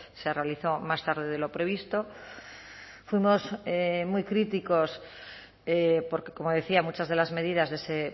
se realizó más tarde de lo previsto fuimos muy críticos porque como decía muchas de las medidas de ese